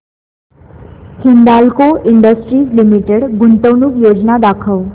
Hindalco industries limited गुंतवणूक योजना दाखव